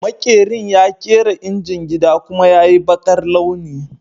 Maƙerin ya kera injin gida, kuma ya yi baƙar launi